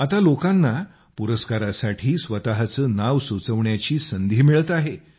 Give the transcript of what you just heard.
आता लोकांना पुरस्कारासाठी स्वतःचे नाव सुचविण्याची संधी मिळत आहे